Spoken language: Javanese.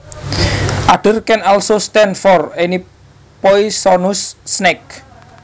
Adder can also stand for any poisonous snake